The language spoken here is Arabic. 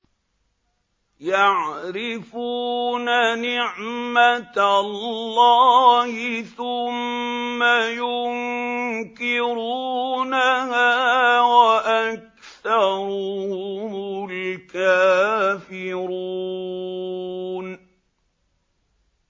يَعْرِفُونَ نِعْمَتَ اللَّهِ ثُمَّ يُنكِرُونَهَا وَأَكْثَرُهُمُ الْكَافِرُونَ